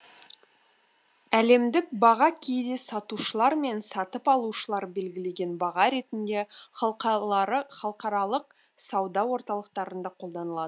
әлемдік баға кейде сатушылар мен сатып алушылар белгілеген баға ретінде халықаралық сауда орталықтарында қолданылады